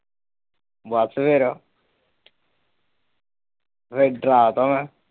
ਬਸ ਫਿਰ ਫਿਰ ਡਰਾ ਤਾ ਮੈਂ ।